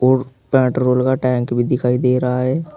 और पेट्रोल का टैंक भी दिखाई दे रहा है।